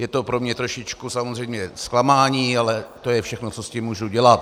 Je to pro mě trošičku samozřejmě zklamání, ale to je všechno, co s tím můžu dělat.